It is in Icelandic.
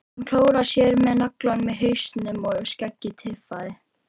Hann klóraði sér með nagla í hausnum og skeggið tifaði.